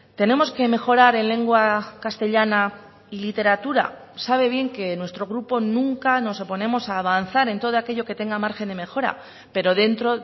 tenemos que mejorar en lengua castellana y literatura sabe bien que en nuestro grupo nunca nos oponemos a avanzar en todo aquello que tenga margen de mejora pero dentro